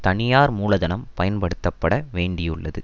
தனியார் மூலதனம் பயன்படுத்தப்பட வேண்டியுள்ளது